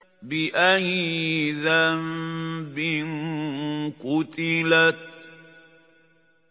بِأَيِّ ذَنبٍ قُتِلَتْ